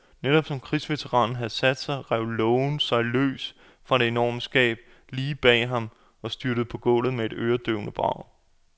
Netop som krigsveteranen havde sat sig, rev lågen sig løs fra det enorme skab lige bag ham og styrtede på gulvet med et øredøvende brag.